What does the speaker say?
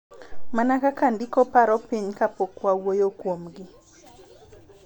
Mana kaka ndiko paro piny kapok wawuoyo kuomgi.